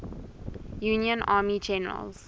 union army generals